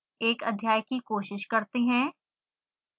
एक अध्याय की कोशिश करते हैं